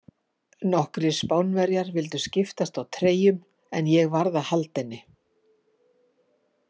Nokkrir Spánverjar vildu skiptast á treyjum, en ég varð að halda henni.